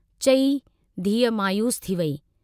चई धीअ मायूस थी वेई।